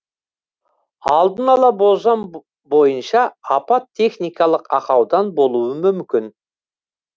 алдын ала болжам бойынша апат техникалық ақаудан болуы мүмкін